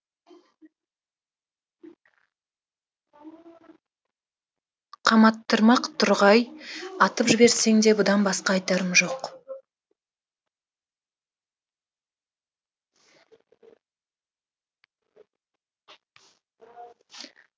қаматтырмақ тұрғай атып жіберсең де бұдан басқа айтарым жоқ